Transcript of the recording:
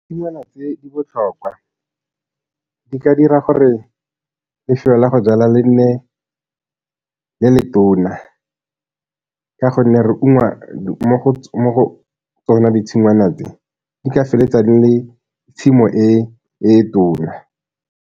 Tshingwana tse di botlhokwa, di ka dira gore lefelo la go jala le nne le letona, ka gonne re ungwa mo go tsona ditshingwana tse, di ka feleletsa di le tshimo e e tona.